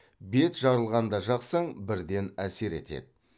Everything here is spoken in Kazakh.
бет жарылғанда жақсаң бірден әсер етеді